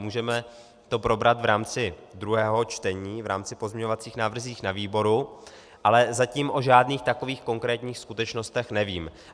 Můžeme to probrat v rámci druhého čtení, v rámci pozměňovacích návrhů na výboru, ale zatím o žádných takových konkrétních skutečnostech nevím.